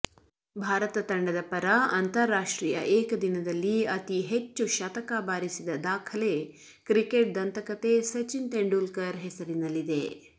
ಭಾರತ ತಂಡದ ಪರ ಅಂತಾರಾಷ್ಟ್ರೀಯ ಏಕದಿನದಲ್ಲಿ ಅತೀ ಹೆಚ್ಚು ಶತಕ ಬಾರಿಸಿದ ದಾಖಲೆ ಕ್ರಿಕೆಟ್ ದಂತಕತೆ ಸಚಿನ್ ತೆಂಡೂಲ್ಕರ್ ಹೆಸರಿನಲ್ಲಿದೆ